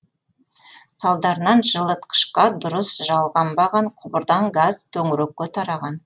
салдарынан жылытқышқа дұрыс жалғанбаған құбырдан газ төңірекке тараған